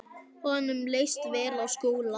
Honum leist vel á Skúla.